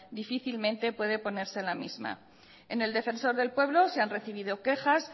difícilmente puede oponerse la misma en el defensor del pueblo se ha recibido quejas